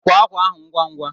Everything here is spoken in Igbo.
Kwee ákwà ahụ ngwa ngwa!